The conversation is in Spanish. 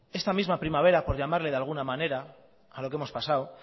esta misma primavera por llamarle de alguna manera a lo que hemos pasado